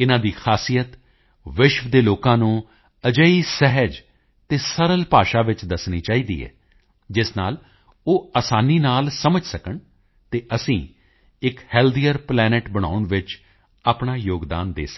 ਇਨ੍ਹਾਂ ਦੀ ਖਾਸੀਅਤ ਵਿਸ਼ਵ ਦੇ ਲੋਕਾਂ ਨੂੰ ਅਜਿਹੀ ਸਹਿਜ ਅਤੇ ਸਰਲ ਭਾਸ਼ਾ ਵਿੱਚ ਦੱਸਣੀ ਚਾਹੀਦੀ ਹੈ ਜਿਸ ਨਾਲ ਉਹ ਆਸਾਨੀ ਨਾਲ ਸਮਝ ਸਕਣ ਅਤੇ ਅਸੀਂ ਇੱਕ ਹੈਲਥੀਅਰ ਪਲੈਨੇਟ ਬਣਾਉਣ ਵਿੱਚ ਆਪਣਾ ਯੋਗਦਾਨ ਦੇ ਸਕੀਏ